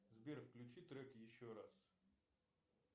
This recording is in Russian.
сбер включи трек еще раз